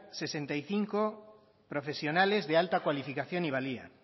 sesenta y cinco profesionales de alta cualificación y valía